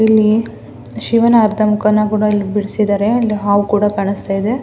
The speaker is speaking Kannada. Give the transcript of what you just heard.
ಇಲ್ಲಿ ಶಿವನ ಅರ್ಧ ಮೂಖ ನ ಬಿಡಿಸಿದ್ದಾರೆ ಹಾವು ಕೂಡ ಕಾಣಿಸ್ತಾ ಇದೆ.